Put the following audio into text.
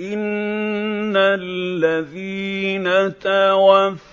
إِنَّ الَّذِينَ تَوَفَّاهُمُ